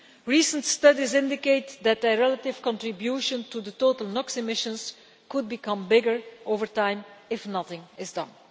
Recent studies indicate that their relative contribution to total NOx emissions could become bigger over time if nothing is done.